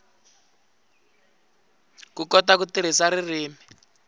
ku kota ku tirhisa ririmi